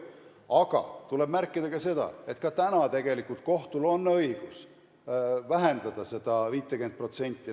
Aga tuleb märkida ka seda, et ka praegu on kohtul tegelikult õigus vähendada seda 50%.